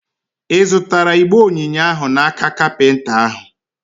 Ị zụtara igbe onyinye ahụ n'aka kapinta ahụ?